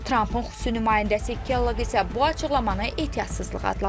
Trampın xüsusi nümayəndəsi Keller isə bu açıqlamanı ehtiyatsızlıq adlandırıb.